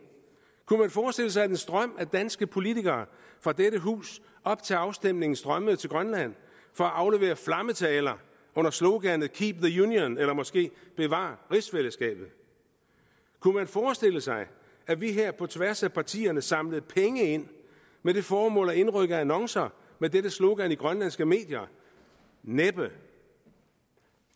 kunne man forestille sig at en strøm af danske politikere fra dette hus op til afstemningen strømmede til grønland for at aflevere flammetaler under sloganet keep the union eller måske bevar rigsfællesskabet kunne man forestille sig at vi her på tværs af partierne samlede penge ind med det formål at indrykke annoncer med dette slogan i grønlandske medier næppe